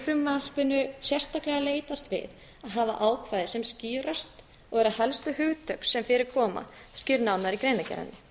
í frumvarpinu sérstaklega leitast við að hafa ákvæði sem skýrast og eru helstu hugtök sem fyrir koma skýrð nánar í greinargerðinni